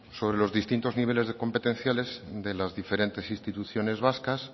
sobre los distintos niveles competenciales de las diferentes instituciones vascas